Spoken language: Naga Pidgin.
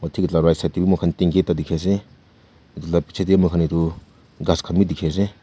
right side teh be mukhan tanki ekta dikhi ase etu lah etu lah picche teh moi khan etu ghass khan be dikhi ase.